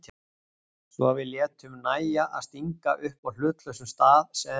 Svo við létum nægja að stinga upp á hlutlausum stað sem